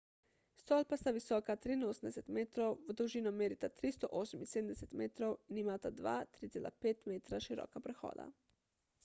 stolpa sta visoka 83 metrov v dolžino merita 378 metrov in imata dva 3,5 metra široka prehoda